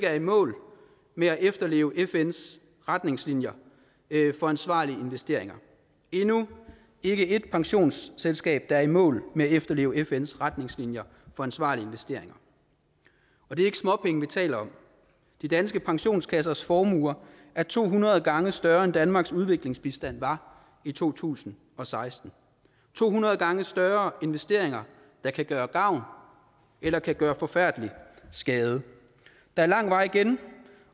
er i mål med at efterleve fns retningslinjer for ansvarlige investeringer endnu ikke et pensionsselskab at der er i mål med at efterleve fns retningslinjer for ansvarlige investeringer og det er ikke småpenge vi taler om de danske pensionskassers formuer er to hundrede gange større end danmarks udviklingsbistand var i to tusind og seksten to hundrede gange større investeringer der kan gøre gavn eller kan gøre forfærdelig skade der er lang vej igen